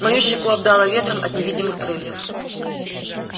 мою щеку обдало ветром от невидимых крыльев